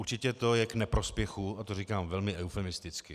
Určitě to je k neprospěchu, a to říkám velmi eufemisticky.